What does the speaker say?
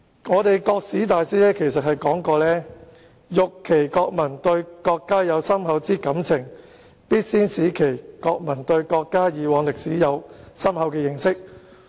一位國史大師曾說："欲其國民對國家有深厚之愛情，必先使其國民對國家已往歷史有深厚的認識。